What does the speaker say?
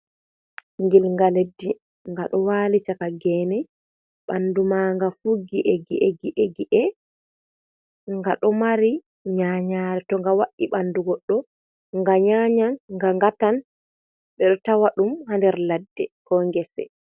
Gilnga leddi. Nga ɗo wali chaka gene. bandu ma nga fuggi gi'e gi'e, gi'e. Nga ɗo mari nyanyare to nga wa’i ɓanɗu goɗɗo nga nyanyan, nga ngatan. Ɓe ɗo tawa ɗum ha nder ladde ko gese.